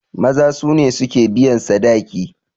Maza su ne suke biyan sadaki.